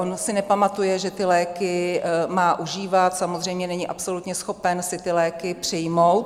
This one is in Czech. On si nepamatuje, že ty léky má užívat, samozřejmě není absolutně schopen si ty léky přijmout.